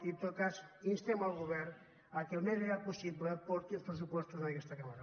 i en tot cas instem el govern perquè al més aviat possible porti els pressupostos a aquesta cambra